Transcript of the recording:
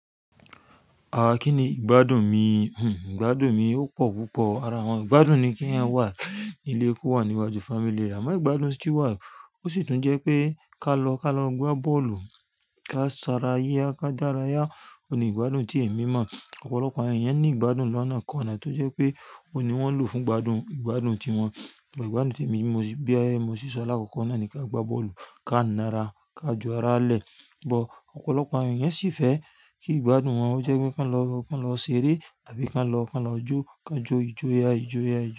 Àwọn kíni ìgbádùn mi? Hhm, ìgbádùn mi ó pọ̀ púpọ̀. Ara wọn ìgbádùn ni kí ẹeyan wà nílé, kó wà níwájú family rẹ. Àmọ́ ìgbádùn tí wà ó sì tún jẹ́ pé ká lọ, ká lọ gbá bọ́ọ̀lù, ká sanra yá, ká dára yá. O ni ìgbádùn tí èmi mọ̀. Ọ̀pọ̀lọpọ̀ àwọn èèyàn ní ìgbádùn lọ́nà kan àná tó jẹ́ pé o ni wọ́n lò fún ìgbádùn, ìgbádùn ti wọn. Ìgbádùn tí èmi bí ẹ, mo sì sọ láàkọ́kọ́ náà ni ká gbá bọ́ọ̀lù, ká ńara, ká jo ara lẹ̀. But, ọ̀pọ̀lọpọ̀ àwọn èèyàn sì fẹ́ kí ìgbádùn wọn ó jẹ́ pé ká lọ, ká lọ ṣeré tàbí ká lọ, ká lọ jó, ká jo ìjo ya, ìjo ya, ìjo.